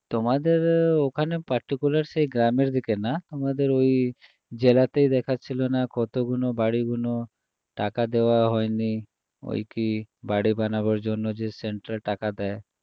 তোমাদের ওখানে particular সেই গ্রামের দিকে না আমাদের ওই জেলাতেই দেখাচ্ছিল না কতগুলো বাড়িগুলো টাকা দেওয়া হয়নি ওই কী বাড়ি বানাবার জন্য যে central টাকা দেয়